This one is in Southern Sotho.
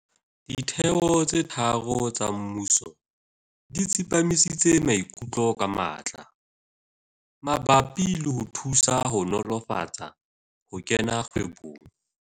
Ditheo tse tharo tsa mmuso di tsepamisitse maikutlo ka matla mabapi le ho thusa ho nolofatsa ho kena kgwebong